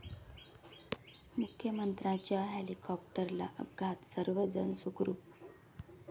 मुख्यमंत्र्यांच्या हेलिकॉप्टरला अपघात, सर्व जण सुखरूप